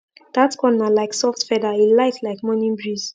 dat corn na like soft feather e light like morning breeze